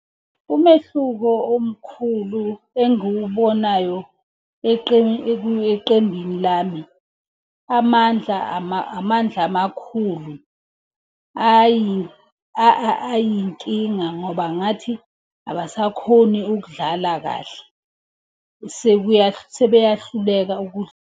Umehluko omkhulu engiwubonayo eqembini lami. Amandla, amandla amakhulu, hhayi ayinkinga ngoba ngathi abasakhoni ukudlala kahle. sebeyahluleka